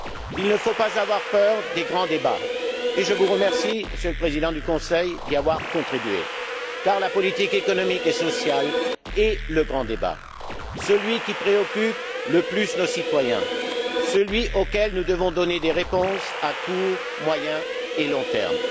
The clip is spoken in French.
Il ne faut pas avoir peur des grands débats, et je vous remercie, Monsieur le Président du Conseil, d'y avoir contribué, car la politique économique et sociale est le grand débat, celui qui préoccupe le plus nos citoyens, celui auquel nous devons donner des réponses à court, moyen et long termes.